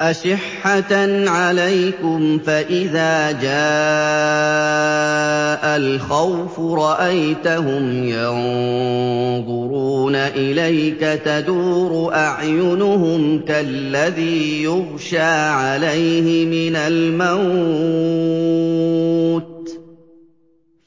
أَشِحَّةً عَلَيْكُمْ ۖ فَإِذَا جَاءَ الْخَوْفُ رَأَيْتَهُمْ يَنظُرُونَ إِلَيْكَ تَدُورُ أَعْيُنُهُمْ كَالَّذِي يُغْشَىٰ عَلَيْهِ مِنَ الْمَوْتِ ۖ